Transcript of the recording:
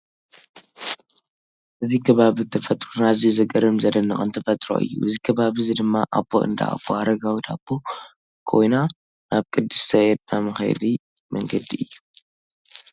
እዚ ከባብን ተፈጥሮን ኣዝዩ ዘገርም ዘደንቅን ተፈጥሮ እዩ። እዚ ከባቢ እዚ ድማ ኣብ እንዳ ኣቦ-ኣረጋዊ ዳቦ ኮይና ናብ ቅድስተ ኤድና መክየዲ መንገዲ እዩ።